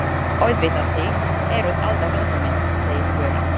Auðvitað, þið eruð alltaf velkomin, segir Fjóla.